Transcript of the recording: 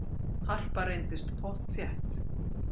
Harpa reyndist pottþétt